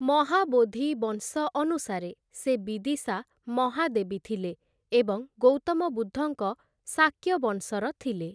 ମହାବୋଧି-ବଂଶ ଅନୁସାରେ, ସେ ବିଦିଶା ମହାଦେବୀ ଥିଲେ ଏବଂ ଗୌତମ ବୁଦ୍ଧଙ୍କ ଶାକ୍ୟ ବଂଶର ଥିଲେ ।